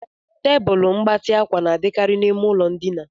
Tebụl mgbatị ákwà na-adịkarị n'ime ụlọ ndina.